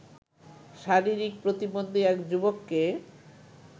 শারীরিক প্রতিবন্ধী এক যুবককে